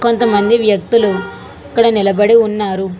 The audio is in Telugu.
కొంతమంది వ్యక్తులు ఇక్కడ నిలబడి ఉన్నారు.